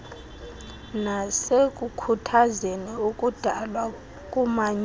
nasekukhuthazeni ukudalwa komanyano